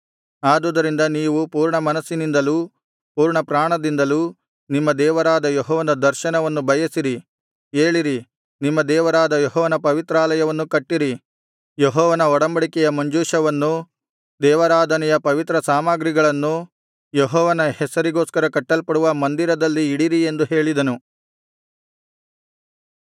ಆದುದರಿಂದ ನೀವು ಪೂರ್ಣಮನಸ್ಸಿನಿಂದಲೂ ಪೂರ್ಣಪ್ರಾಣದಿಂದಲೂ ನಿಮ್ಮ ದೇವರಾದ ಯೆಹೋವನ ದರ್ಶನವನ್ನು ಬಯಸಿರಿ ಏಳಿರಿ ನಿಮ್ಮ ದೇವರಾದ ಯೆಹೋವನ ಪವಿತ್ರಾಲಯವನ್ನು ಕಟ್ಟಿರಿ ಯೆಹೋವನ ಒಡಂಬಡಿಕೆ ಮಂಜೂಷವನ್ನೂ ದೇವಾರಾಧನೆಯ ಪವಿತ್ರ ಸಾಮಗ್ರಿಗಳನ್ನೂ ಯೆಹೋವನ ಹೆಸರಿಗೋಸ್ಕರ ಕಟ್ಟಲ್ಪಡುವ ಮಂದಿರದಲ್ಲಿ ಇಡಿರಿ ಎಂದು ಹೇಳಿದನು